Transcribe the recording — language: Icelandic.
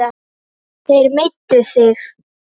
Þeir meiddu þig.